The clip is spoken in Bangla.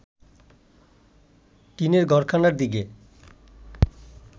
টিনের ঘরখানার দিকে